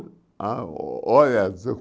Ah, o olho azul.